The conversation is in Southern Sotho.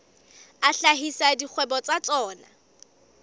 a hlahisa dikgwebo tsa tsona